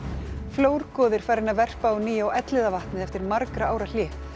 flórgoði er farinn að verpa á ný á Elliðavatni eftir margra ára hlé